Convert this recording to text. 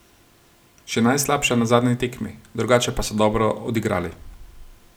Še najslabša na zadnji tekmi, drugače pa so dobro odigrali.